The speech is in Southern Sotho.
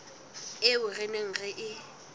eo re neng re e